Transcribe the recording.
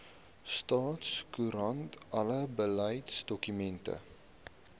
staatskoerant alle beleidsdokumente